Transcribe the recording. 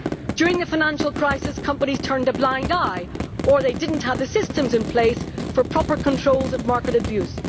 During the financial crisis, companies turned a blind eye, or did not have the systems in place for proper control of market abuse.